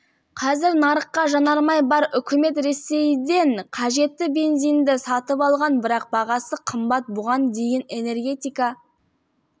қазір нарықта жанармай бар үкімет ресейден қажетті бензинді сатып алған бірақ бағасы қымбат бұған дейін энергетика